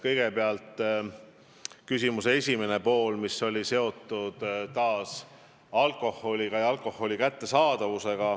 Kõigepealt küsimuse esimene pool, mis puudutas taas alkoholi, alkoholi kättesaadavust.